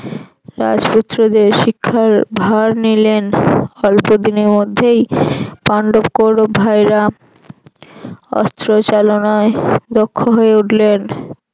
রাজপুত্রদের শিক্ষার ভার নিলেন। অল্পদিনের মধ্যেই পান্ডব কৌরব ভাইয়েরা অস্ত্র চালনায় দক্ষ হয়ে উঠলেন।